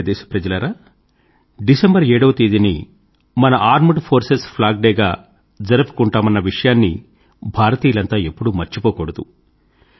నా ప్రియమైన దేశ ప్రజలారా డిసెంబర్ 7 వ తేదీని మన ఆర్మెడ్ ఫోర్సెస్ ఫ్లాగ్ డే గా జరుపుకుంటామన్న విషయాన్ని భారతీయులంతా ఎప్పుడూ మర్చిపోకూడదు